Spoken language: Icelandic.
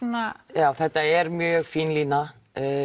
já þetta er mjög fín lína